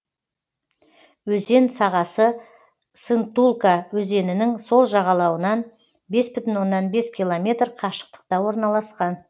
өзен сағасы сынтулка өзенінің сол жағалауынан бес бүтін оннан бес километр қашықтықта орналасқан